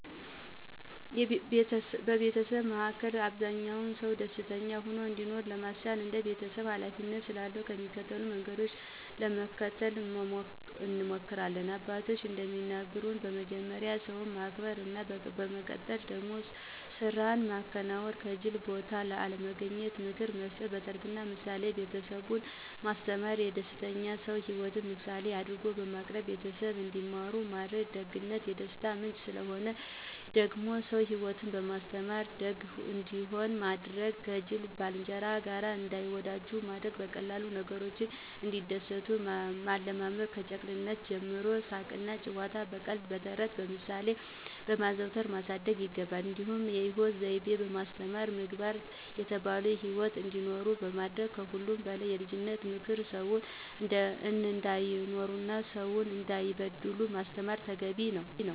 በቤተሰባችን መሀከ አብዛኛ ሰው ደስተኛ ሆኖ እንዲኖር ለማስቻል እንደ ቤተሰብ ሀላፊነት ስላለ የሚከተሉትን መንገዶች ለመከተል እንሞክሪለን፦ አባቶችም እንደሚነግሩን በመጀመሪያ ሰውን ማክበር ነው፤ በመቀጠል ደግሞ ስራን ማከናወን፥ ከጂል ቦታ አለመገኘት፣ ምክር መስጠት፣ በተረትና ምሳሌ ቤተሰብን ማስተማር፣ የደስተኛ ሰው ሂወትን ምሳሌ አድርጎ በማቅረብ ቤተሰብ እንዲማሩ ማድረግ፣ ደግነት የደስታ ምንጭ ስለሆነ፥ የደግ ሰው ሂወትን በማስተማር ደግ እንዲሆኑ ማድረግ፥ ከጂል ባልንጀራ ጋር እንዳይወጃጁ ማድረግ፣ በቀላል ነገሮች እንዲደሰቱ ማለማመድ፣ ከጨቅላነታቸው ጀምሮ ሳቅና ጨዋታን በቀልድ፥ ተረትና ምሳሌ በማዋዛት ማሳደግ ይገባ። እንዲሁም የሂወት ዘይቤ በማስተማር ምግባር የተላበሰ ሂወት እንዲኖሩ ማድረግ ከሁሉም በላይ ልጆችን ክፉ ሰው እንዳይሆኑና ሰውን እንዳይበድሉ ማስተማር ተገቢ ነው።